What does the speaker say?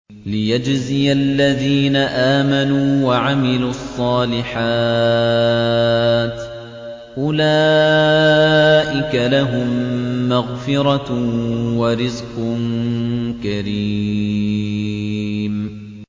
لِّيَجْزِيَ الَّذِينَ آمَنُوا وَعَمِلُوا الصَّالِحَاتِ ۚ أُولَٰئِكَ لَهُم مَّغْفِرَةٌ وَرِزْقٌ كَرِيمٌ